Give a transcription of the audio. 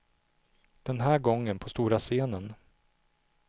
Den här gången på stora scenen.